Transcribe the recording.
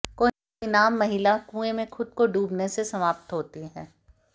कोई नाम महिला कुएं में खुद को डूबने से समाप्त होती है